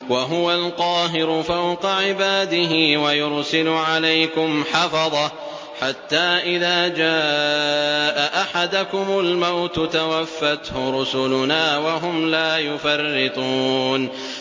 وَهُوَ الْقَاهِرُ فَوْقَ عِبَادِهِ ۖ وَيُرْسِلُ عَلَيْكُمْ حَفَظَةً حَتَّىٰ إِذَا جَاءَ أَحَدَكُمُ الْمَوْتُ تَوَفَّتْهُ رُسُلُنَا وَهُمْ لَا يُفَرِّطُونَ